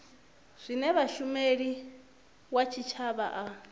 zwine mushumeli wa tshitshavha a